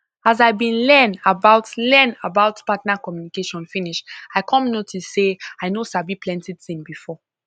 as i been learn about learn about partner communication finish i come notice say i no sabi plenty thing before